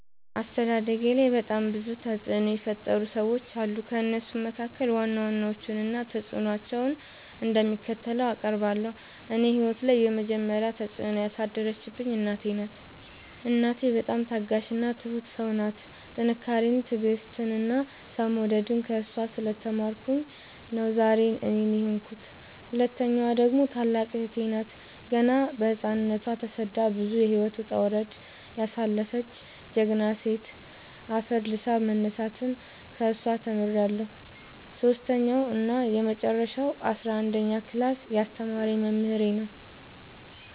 አስተዳደጌላይ በጣም ብዙ ተፅዕኖ የፈጠሩ ሰዎች አሉ። ከእነሱም መካከል ዋና ዋናዎቹን እና ተፅዕኖቸው እንደሚከተለው አቀርባለሁ። እኔ ህይወት ላይ የመጀመሪ ተፅዕኖ ያሳደረችብኝ እናቴ ናት። እናቴ በጣም ታጋሽ እና ትሁት ሰው ናት ጥንካሬን ትዕግስትን እና ሰው መውደድን ከእሷ ስለ ተማርኩኝ ነው ዛሬ እኔን የሆንኩት። ሁለተኛዋ ደግሞ ታላቅ እህቴ ናት ገና በህፃንነቶ ተሰዳ ብዙ የህይወት ወጣውረድ ያሳለፈች ጀግና ሴት አፈር ልሶ መነሳትን ከሷ ተምሬለሁ። ሰሶስተኛው እና የመጀረሻው አስረአንደኛ ክላስ ያስተማረኝ መምህሬ ነው።